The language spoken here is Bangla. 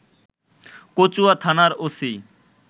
কচুয়া থানার ওসি